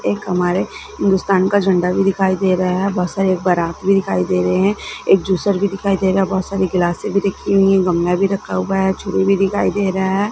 एक हमारे हिंदुस्तान का झंडा भी दिखाई दे रहा है बहुत सारे बारात भी दिखाई दे रहे हैं एक जूसर भी दिखाई दे रहा है बहुत सारी ग्लासे भी दिख रही है गमला भी रखा हुआ है छुरी भी दिखाई दे रहा है।